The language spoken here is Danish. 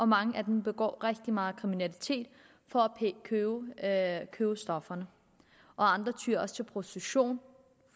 mange af dem begår rigtig meget kriminalitet for at købe stofferne og andre tyer også til prostitution